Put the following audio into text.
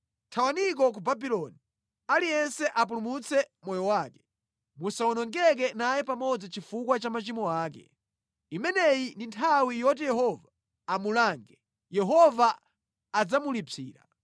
“Thawaniko ku Babuloni! Aliyense apulumutse moyo wake! Musawonongeke naye pamodzi chifukwa cha machimo ake. Imeneyi ndi nthawi yoti Yehova amulange; Yehova adzamulipsira.